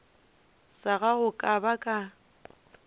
sa gago ka ba ka